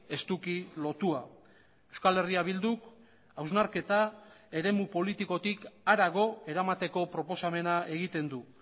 estuki lotua euskal herria bilduk hausnarketa eremu politikotik harago eramateko proposamena egiten du